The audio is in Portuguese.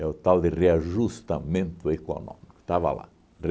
o tal de reajustamento econômico. Estava lá.